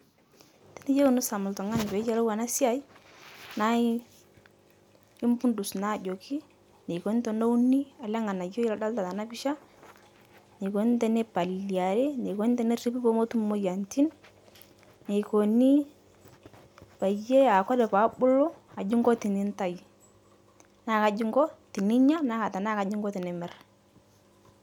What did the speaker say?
Tiniyeu nisom ltung'ani peeyelou ana sai, nai ipudus naa ajoki neikoni teneuni ale ng'anayoi ladolita tena pisha, neikoni tenepaliliari, neikoni teneripi pomotum moyianitin, neikoni payie aaku Kore peebulu aji inko tinitai, naa kaji inko tininya naa tanaa kaji inko tinimir